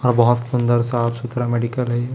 हा बहोत सुंदर साफ सुथरा मेडिकल है ये--